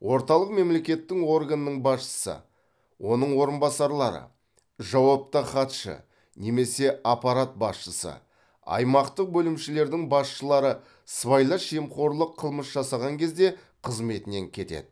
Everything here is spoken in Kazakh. орталық мемлекеттің органның басшысы оның орынбасарлары жауапты хатшы немесе аппарат басшысы аймақтық бөлімшелердің басшылары сыбайлас жемқорлық қылмыс жасаған кезде қызметінен кетеді